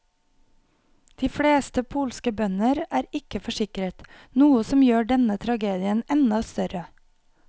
De fleste polske bønder er ikke forsikret, noe som gjør denne tragedien enda større.